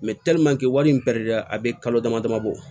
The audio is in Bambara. wari in a bɛ kalo dama dama bɔ